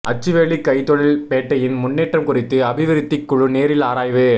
அச்சுவேலி கைத்தொழில் பேட்டையின் முன்னேற்றம் குறித்து அபிவிருத்திக் குழு நேரில் ஆராய்வு